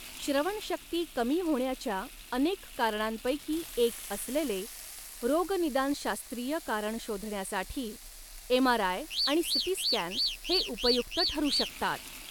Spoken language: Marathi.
श्रवणशक्ती कमी होण्याच्या, अनेक कारणांपैकी एक असलेले, रोगनिदानशास्त्रीय कारण शोधण्यासाठी, एमआरआय आणि सीटी स्कॅन हे उपयुक्त ठरू शकतात.